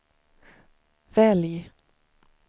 välj